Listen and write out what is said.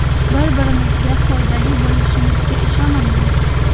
Bir-birimizga foydali bo‘lishimizga ishonaman.